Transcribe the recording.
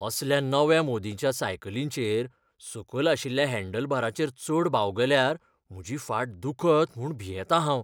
असल्या नव्या मोदींच्या सायकलींचेर सकल आशिल्ल्या हँडलबारांचेर चड बावगल्यार म्हजी फाट दुखत म्हूण भियेतां हांव.